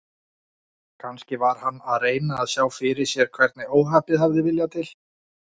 Kannski var hann að reyna að sjá fyrir sér hvernig óhappið hafði viljað til.